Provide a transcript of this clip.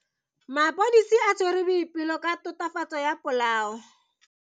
Maphodisa a tshwere Boipelo ka tatofatso ya polao.